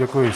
Děkuji.